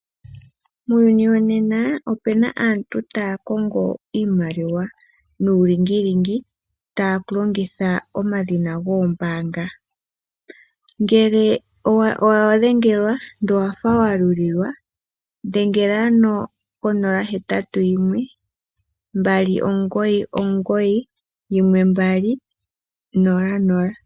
Muuyuni wonena opuna aantu taya kongo iimaliwa nuulingilingi taya longitha omadhina goombaanga ngele owa dhengelwa ndele owafa wa limbililwa dhengela ko 0612991200